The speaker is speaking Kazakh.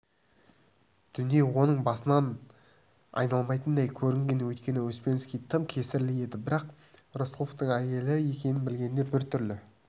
дүние оның басынан айналмайтындай көрінген өйткені успенский тым кесірлі еді бірақ рысқұловтың әйелі екенін білгенде біртүрлі